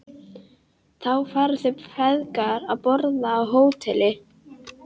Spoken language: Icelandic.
Þá fara þeir feðgar að borða á Hótel